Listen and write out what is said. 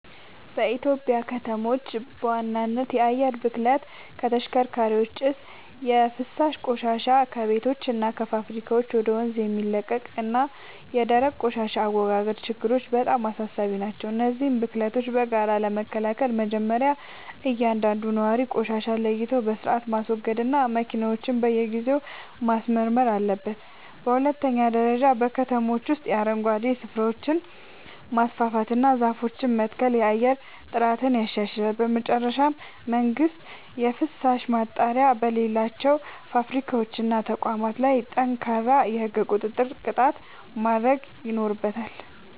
በኢትዮጵያ ከተሞች በዋናነት የአየር ብክለት (ከተሽከርካሪዎች ጭስ)፣ የፍሳሽ ቆሻሻ (ከቤቶችና ከፋብሪካዎች ወደ ወንዝ የሚለቀቅ) እና የደረቅ ቆሻሻ አወጋገድ ችግሮች በጣም አሳሳቢ ናቸው። እነዚህን ብክለቶች በጋራ ለመከላከል መጀመርያ እያንዳንዱ ነዋሪ ቆሻሻን ለይቶ በሥርዓት ማስወገድና መኪናውን በየጊዜው ማስመርመር አለበት። በሁለተኛ ደረጃ በከተሞች ውስጥ የአረንጓዴ ስፍራዎችን ማስፋፋትና ዛፎችን መትከል የአየር ጥራትን ያሻሽላል። በመጨረሻም መንግሥት የፍሳሽ ማጣሪያ በሌላቸው ፋብሪካዎችና ተቋማት ላይ ጠንካራ የሕግ ቁጥጥርና ቅጣት ማድረግ ይኖርበታል።